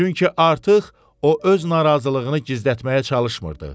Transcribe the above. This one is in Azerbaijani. Çünki artıq o öz narazılığını gizlətməyə çalışmırdı.